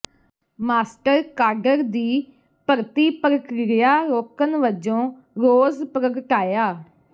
master cadre ਦੀ ਭਰਤੀ ਪ੍ਰਕਿਰਿਆ ਰੋਕਣ ਵਜੋਂ ਰੋਸ ਪ੍ਰਗਟਾਇਆ